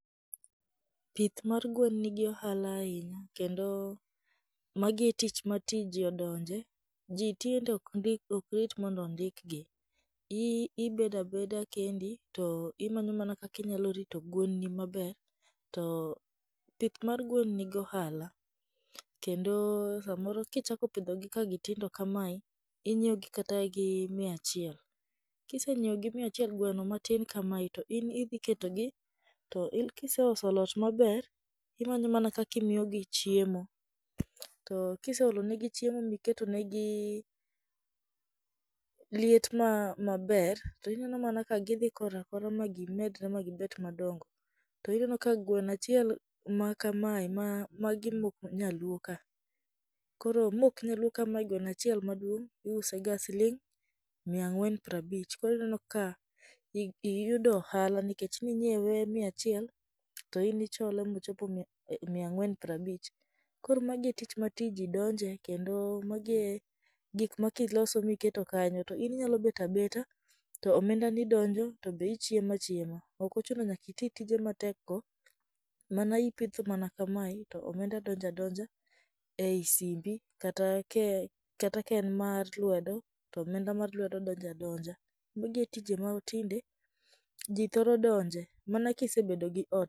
Pith mar gwen nigi ohala ahinya kendo magi e tich matinde ji odonje, ji tinde ok rit mondo ondikgi. I ibedo abeda kendi to imanyo mana kaka inyalo rito gwenni maber, to tich mar gwen nigi ohala, kendo samoro kichako pidhogi ka tindo kamae, inyioegi kata gi mia achiel. Kisenyieo gi mia achiel gweno matin kamae to in idhi ketogi, to ilo kisesolo ot maber, imanyo mana kaka imiyogi chiem. To kiseolo negi chiemo niketonegi liet ma maber, to ineno mana ka gidhi kora kora ma gimedre magibet madongo. To ineno ka gweno achiel ma ma kamae magi mok nyaluo ka. Koro mok nyaluo kmae gweno achiel maduong' iuse ga siling' mia ang'wen prabich. Koro ineno ka ich iyudo ohala nikech ninyiewe mia achiel, to in ichole mochopo mia ang'wen prabich. Koro magi e tich ma ti jidonje kendo magi e gik makiloso miketo kanyo to in inyalo bet abeta to omendani donjo, to be ichiemo achiema. Ok ochuno nyaka iti tije matekgo mana ipitho mana kamae to omenda donjo adonja ei simbi kata ke kata ka en mar lwedo, to omenda mar lwedo donja donja. Magi e tije matinde ji thoro donje mana ka isebedo gi o.